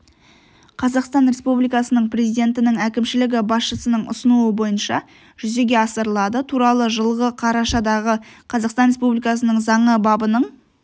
қазақстан республикасы президентінің әкімшілігі басшысының ұсынуы бойынша жүзеге асырылады туралы жылғы қарашадағы қазақстан республикасының заңы бабының